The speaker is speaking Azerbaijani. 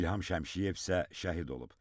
İlham Şəmşiyev isə şəhid olub.